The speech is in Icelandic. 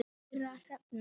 Kæra Hrefna